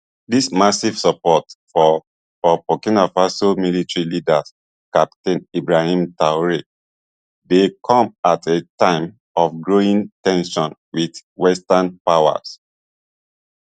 dis massive support for for burkina faso military leader captain ibrahim traore dey come at a time of growing ten sions wit western powers